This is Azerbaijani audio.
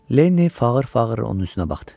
Lenni fağır-fağır onun üzünə baxdı.